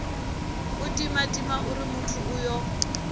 u timatima uri muthu uyo